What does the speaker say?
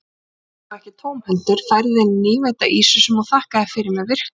Hann kom þó ekki tómhentur, færði henni nýveidda ýsu sem hún þakkaði fyrir með virktum.